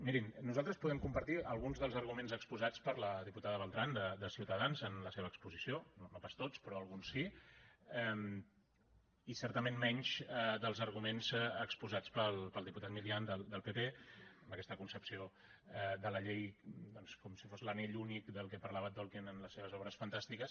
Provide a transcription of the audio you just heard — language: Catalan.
mirin nosaltres podem compartir alguns dels arguments exposats per la diputada beltrán de ciutadans en la seva exposició no pas tots però alguns sí i certament menys dels arguments exposats pel diputat milián del pp amb aquesta concepció de la llei doncs com si fos l’anell únic de què parlava tolkien en les seves obres fantàstiques